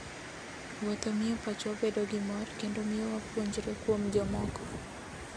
Wuotho miyo pachwa bedo gi mor kendo miyo wapuonjre kuom jomoko.